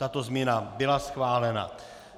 Tato změna byla schválena.